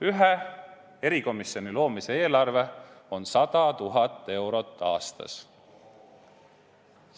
Ühe erikomisjoni loomise eelarve on 100 000 eurot aastas.